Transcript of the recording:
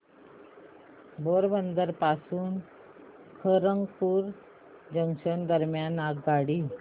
पोरबंदर पासून खरगपूर जंक्शन दरम्यान आगगाडी